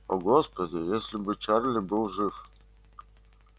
о господи если бы чарли был жив